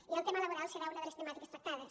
i el tema laboral serà una de les temàtiques tractades